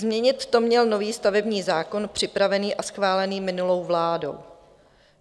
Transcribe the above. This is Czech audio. Změnit to měl nový stavební zákon připravený a schválený minulou vládou.